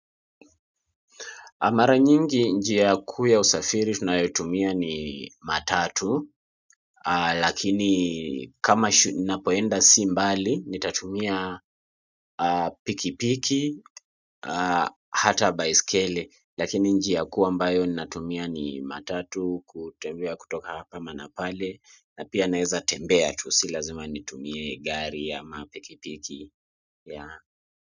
Mara nyingi njia ya kuu ya usafiri tunayotumia ni matatu, lakini kama ninapoenda si mbali, nitatumia pikipiki, hata baiskeli, lakini njia kuu ambayo ninatumia ni matatu, kutembea kutoka hapa ama na pale, na pia naweza tembea tu, si lazima nitumie gari ama pikipiki.